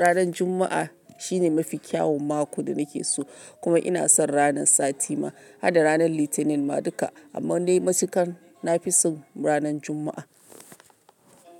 ranan Juma'a shine mafi kyaun mako da na ke so. Kuma ina son ranan sati ma, har da ranan Litinin ma duka. Amma dai matukan na fi son ranan Juma'a.